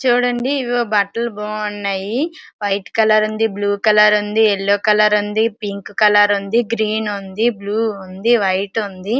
చూడండి ఇవి బట్టలు బాగున్నాయి. వైట్ కలర్ ఉంది. బ్లూ కలర్ ఉంది. ఎల్లో కలర్ ఉంది. పింక్ కలర్ ఉంది. గ్రీన్ ఉంది. బ్లూ ఉంది. వైట్ ఉంది.